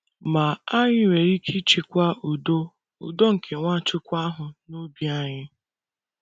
Ma, anyị nwere ike ichekwa udo udo nke Nwachukwu ahụ n’obi anyị.